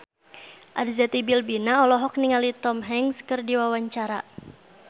Arzetti Bilbina olohok ningali Tom Hanks keur diwawancara